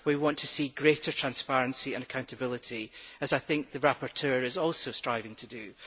We want to see greater transparency and accountability, as I think the rapporteur is also striving to do.